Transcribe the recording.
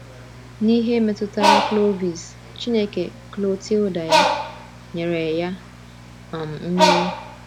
N’ihe metụtara Clovis, Chineke Clotilda nyere ya um mmeri.